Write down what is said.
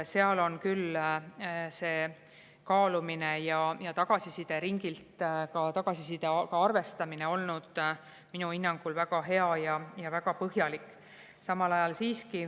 Seal on küll kaalumine ja tagasisideringilt tagasisidega arvestamine olnud minu hinnangul väga hea ja väga põhjalik.